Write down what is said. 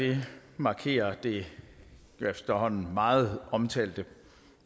her markerer det efterhånden meget omtalte